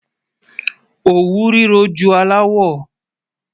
Ọwú rírọ jù àláwọ̀.